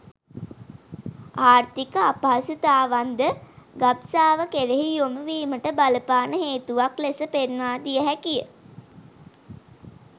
ආර්ථික අපහසුතාවන් ද ගබ්සාව කෙරෙහි යොමු වීමට බලපාන හේතුවක් ලෙස පෙන්වා දිය හැකිය.